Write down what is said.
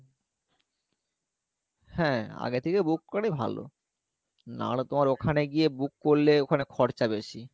হ্যাঁ আগে থেকে book করাই ভালো নাহলে তোমার ওখানে গিয়ে book করলে ওখানে খরচা বেশি